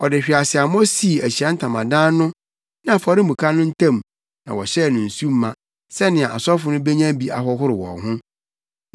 Ɔde hweaseammɔ sii Ahyiae Ntamadan no ne afɔremuka no ntam na wɔhyɛɛ no nsu ma, sɛnea asɔfo no benya bi ahohoro wɔn ho,